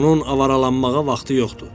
Onun avaralanmağa vaxtı yoxdur.